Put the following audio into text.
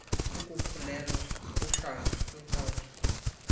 kukukhulelwa kuhlanga kwinkolo